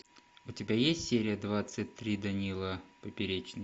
у тебя есть серия двадцать три данила поперечный